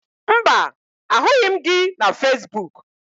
Mba, ahụghị m gị na Fesbuk